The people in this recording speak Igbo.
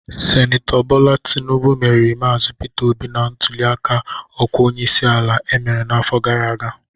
Sinetọ Bola Tinubụ meriri Maazi Peter Obi na ntuliaka ọkwa onyeisi ala emere n'afọ gara aga